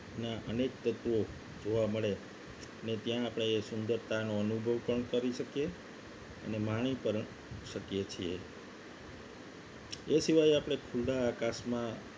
ના અનેક તત્વો જોવા મળે અને ત્યાં આપણે એ સુંદરતાનો અનુભવ પણ કરી શકીએ છીએ એ સિવાય આપણે આકાશમાં